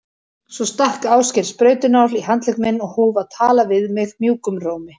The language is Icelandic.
Svo stakk Ásgeir sprautunál í handlegg minn og hóf að tala við mig mjúkum rómi.